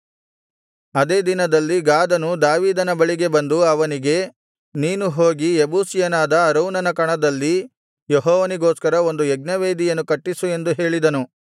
ಅದೇ ದಿನದಲ್ಲಿ ಗಾದನು ದಾವೀದನ ಬಳಿಗೆ ಬಂದು ಅವನಿಗೆ ನೀನು ಹೋಗಿ ಯೆಬೂಸಿಯನಾದ ಅರೌನನ ಕಣದಲ್ಲಿ ಯೆಹೋವನಿಗೋಸ್ಕರ ಒಂದು ಯಜ್ಞವೇದಿಯನ್ನು ಕಟ್ಟಿಸು ಎಂದು ಹೇಳಿದನು